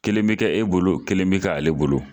Kelen bi kɛ e bolo, kelen bi kɛ ale bolo.